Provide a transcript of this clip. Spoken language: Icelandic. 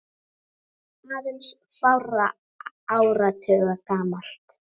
aðeins fárra áratuga gamalt.